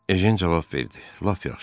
Ejen cavab verdi: "Lap yaxşı.